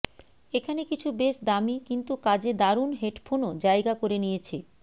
এখানে কিছু বেশ দামি কিন্তু কাজে দারুন হেডফোনও জায়গা করে নিয়েছে